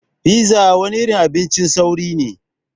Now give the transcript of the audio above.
Pizza wani irin abincin sauri ne.